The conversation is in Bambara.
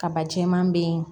Kaba jɛɛman bɛ yen